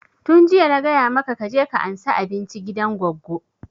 Tun jiya na gaya maka ka je ka ansa abinci gidan goggo!